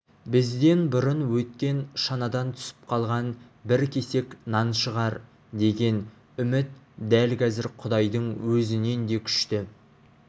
бізден бұрын өткен шанадан түсіп қалған бір кесек нан шығар деген үміт дәл қазір құдайдың өзінен де күшті